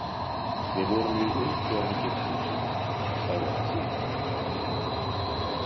Við vorum mjög ung þegar við giftumst, sagði hann síðan.